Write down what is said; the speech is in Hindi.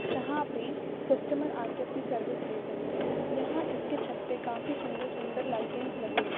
यहां पे कस्टमर आ के अपनी सर्विस ले सकते हैं यहां इसके छत पे काफी सुंदर सुंदर लाइटिंग्स लगे हुए--